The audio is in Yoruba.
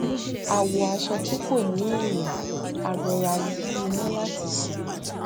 a wọ aṣọ tí kò ní èèyàn a rọra yí iná láti sùn